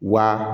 Wa